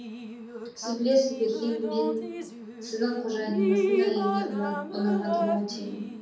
сіз білесіз бе хем мен сіздің қожайыныңыздың әйеліне ұнамадым ау деймін